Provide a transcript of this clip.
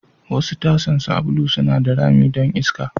Wasu tasan sabulu suna da rami don iska.